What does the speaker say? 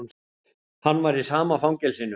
Hann var í sama fangelsinu.